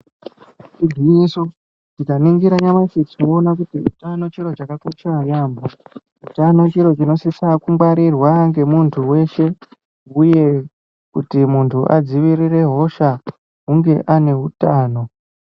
Igwinyiso tikaningira nyamashi tinoona kuti utano chiro chakakosha yaampho. Utano chiro chinosisirwa kungwarirwa ngemuntu weshe uye kuti muntu adzivirire hosha hunge ane utano.